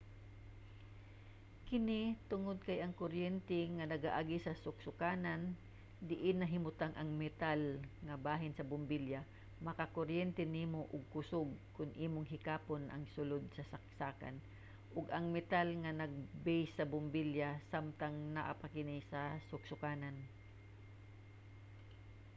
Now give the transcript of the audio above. kini tungod kay ang kuryente nga nagaagi sa suksokanan diin nahimutang ang metal nga bahin sa bombilya makakuryente nimo og kusog kon imong hikapon ang sulod sa saksakan o ang metal nga base sa bombilya samtang naa pa kini sa suksokanan